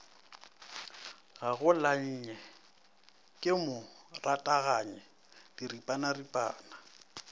gagolanye ke mo rathaganye diripanaripana